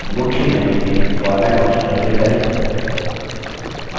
अब मुख्य menu में format option पर click करें